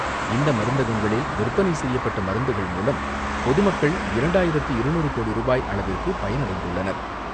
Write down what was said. இந்த மருந்தகங்களில் விற்பனை செய்யப்பட்ட மருந்துகள் மூலம் பொதுமக்கள் இரண்டாயிரத்து இருநூறு கோடி ரூபாய் அளவிற்கு பயனடைந்துள்ளனர்.